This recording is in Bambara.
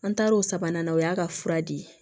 An taar'o sabanan o y'a ka fura di